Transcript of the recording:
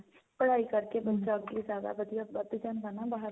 ਪੜ੍ਹਾਈ ਕਰਕੇ ਬੱਚਾ ਅੱਗੇ ਜਿਆਦਾ ਵਧੀਆ ਵੱਧ ਜਾਂਦਾ ਨਾਂ ਬਾਹਰ